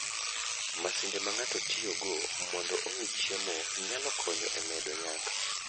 Masinde ma ng'ato tiyogo mondo ong'i chiemo, nyalo konyo e medo nyak.